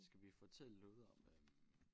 Skal vi fortælle noget om øh